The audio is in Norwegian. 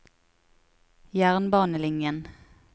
jernbanelinjen